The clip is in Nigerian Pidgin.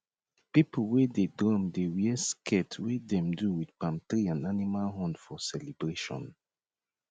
people wey dey drum dey wear skirt wey dem do with palm tree and animal horn for celebration